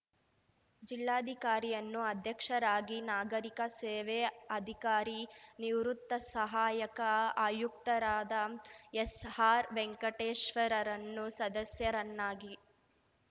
ಜಿಲ್ಲಾಧಿಕಾರಿಯನ್ನು ಅಧ್ಯಕ್ಷರಾಗಿ ನಾಗರೀಕ ಸೇವೆ ಅಧಿಕಾರಿ ನಿವೃತ್ತ ಸಹಾಯಕ ಆಯುಕ್ತರಾದ ಎಸ್‌ಆರ್‌ವೆಂಕಟೇಶ್ವರನ್ನು ಸದಸ್ಯರನ್ನಾಗಿ